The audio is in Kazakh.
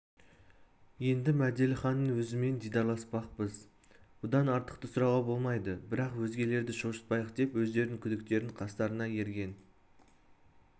енді мәделіханның өзімен дидарласпақпыз бұдан артықты сұрауға болмайды бірақ өзгелерді шошытпайық деп өздерінің күдіктерін қастарына ерген